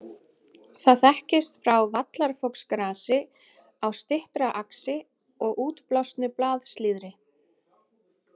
Það þekkist frá vallarfoxgrasi á styttra axi og útblásnu blaðslíðri.